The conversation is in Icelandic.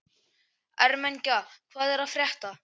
Ermenga, hvað er að frétta?